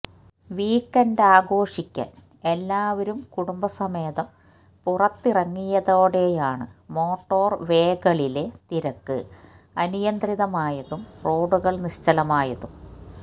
വീക്കെൻഡാഘോഷിക്കാൻ എല്ലാവരും കുടുംബസമേതം പുറത്തിറങ്ങിയതോടെയാണ് മോട്ടോർവേകളിലെ തിരക്ക് അനിയന്ത്രിതമായതും റോഡുകൾ നിശ്ചലമായതും